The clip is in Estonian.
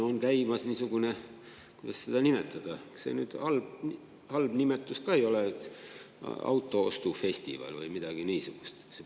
On käimas niisugune – kuidas seda nimetada –, see nüüd halb nimetus ka ei ole: "autoostufestival" või midagi niisugust.